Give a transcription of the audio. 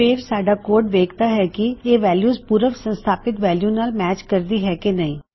ਫੇਰ ਸਾਢਾ ਕੋਡ ਵੇਖਦਾ ਹੈ ਕਿ ਇਹ ਵੈਲਯੂ ਪੂਰਵ ਸੰਸਥਾਪਿਤ ਵੈਲਯੂ ਨਾਲ ਮੈਚ ਕਰਦੀ ਹੈ ਕਿ ਨਹੀ